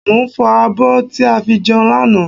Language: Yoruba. Mo ń fọ abọ́ tí a fi jẹun lánàá